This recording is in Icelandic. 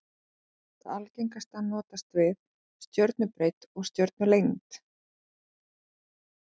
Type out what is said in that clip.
Það algengasta notast við stjörnubreidd og stjörnulengd.